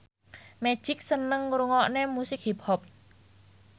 Magic seneng ngrungokne musik hip hop